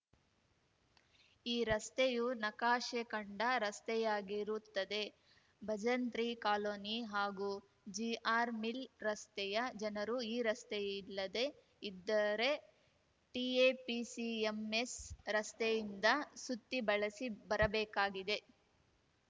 ಈ ರಸ್ತೆಯು ನಕಾಶೆ ಕಂಡ ರಸ್ತೆಯಾಗಿರುತ್ತದೆ ಭಜಂತ್ರಿ ಕಾಲೋನಿ ಹಾಗೂ ಜಿಆರ್‌ ಮಿಲ್‌ ರಸ್ತೆಯ ಜನರು ಈ ರಸ್ತೆಯಿಲ್ಲದೆ ಇದ್ದರೆ ಟಿಎಪಿಸಿಎಂಎಸ್‌ ರಸ್ತೆಯಿಂದ ಸುತ್ತಿ ಬಳಸಿ ಬರಬೇಕಾಗಿದೆ